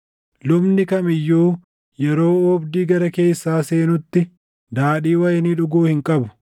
Lubni kam iyyuu yeroo oobdii gara keessaa seenutti daadhii wayinii dhuguu hin qabu.